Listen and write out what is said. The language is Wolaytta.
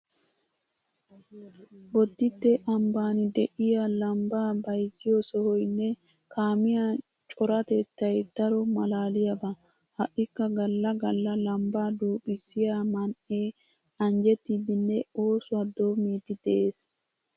Bodditte ambban de'iya lambbaa bayzziyo sohoynne kaamiya coratettay daro maalaaliyaba. Ha"ikka galla galla lambbaa duuqqissiya man"ee anjjettiiddinne oosuwa doommiiddi de'ees.